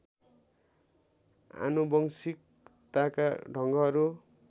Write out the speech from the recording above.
आनुवंशिकताका ढङ्गहरू